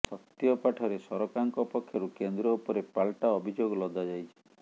ସତ୍ୟପାଠରେ ସରକାରଙ୍କ ପକ୍ଷରୁ କେନ୍ଦ୍ର ଉପରେ ପାଲଟା ଅଭିଯୋଗ ଲଦାଯାଇଛି